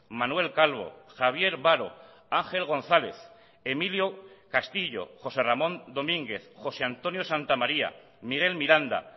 manuel calvo javier baro ángel gonzález emilio castillo josé ramón domínguez josé antonio santamaría miguel miranda